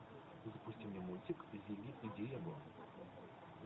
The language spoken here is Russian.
запусти мне мультик зигги и диего